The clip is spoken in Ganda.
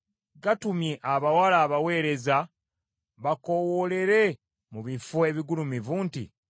Gatumye abawala abaweereza bakoowoolere mu bifo ebigulumivu nti,